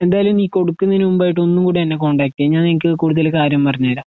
എന്തായാലും കൊടുക്കുന്നതിനുമുമ്പായിട്ട് ഒന്നുംകൂടെഎന്നെ കോണ്ടാക്ട് ചെയ്യ്. ഞാൻനിനക്ക് കൂടുതൽകാര്യം പറഞ്ഞ്തരാം.